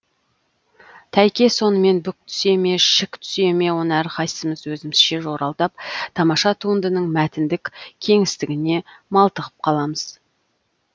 тәйке сонымен бүк түсе ме шік түсе ме оны әрқайсымыз өзімізше жоралдап тамаша туындының мәтіндік кеңістігіне малтығып қаламыз